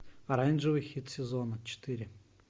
оранжевый хит сезона четыре